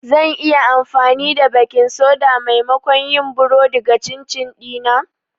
Zan iya amfani da baking soda maimakon yin burodi ga chin chin dina?